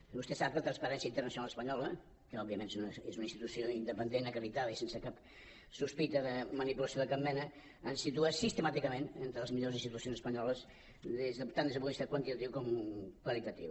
i vostè sap que la transparència internacional espanyola que òbviament és una institució independent acreditada i sense cap sospita de manipulació de cap mena ens situa sistemàticament entre les millors institucions espanyoles tant des del punt de vista quantitatiu com qualitatiu